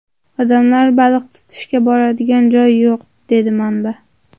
Odamlar baliq tutishga boradigan joy yo‘q”, dedi manba.